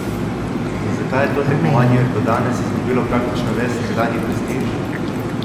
In zakaj je to tekmovanje do danes izgubilo praktično ves nekdanji prestiž?